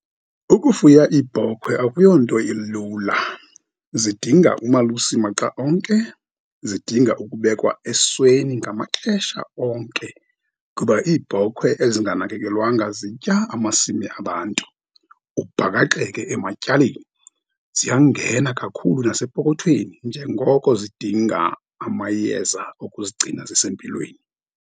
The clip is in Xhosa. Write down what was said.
Ukufuya ibhokhwe akuyonto ilula. Zidinga umalusi maxa onke. Zidinga ukubekwa esweni ngamaxesha onke, kuba iibhokhwe ezinganakelekwanga zitya amasimi abantu, ubhakaxeke ematyaleni, ziyangena kakhulu nasepokothweni, njengoko zidinga amayeza ukuzigcina zisempilweni.